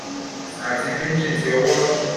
ati pinching ti owo otun